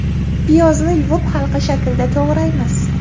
Piyozni yuvib, halqa shaklida to‘g‘raymiz.